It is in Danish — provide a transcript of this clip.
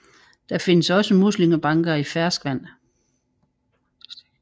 Der findes også muslingebanker i ferskvand